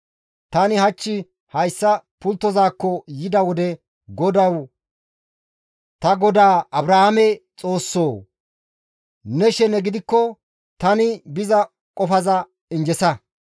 «Tani hach hayssa pulttozaakko yida wode GODAWU! Ta godaa Abrahaame Xoossoo! Ne shene gidikko tani biza qofaza injjesa.